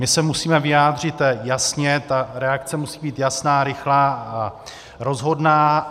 My se musíme vyjádřit jasně, ta reakce musí být jasná, rychlá a rozhodná.